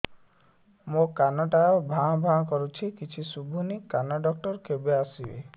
ମୋ କାନ ଟା ଭାଁ ଭାଁ କରୁଛି କିଛି ଶୁଭୁନି କାନ ଡକ୍ଟର କେବେ ଆସିବେ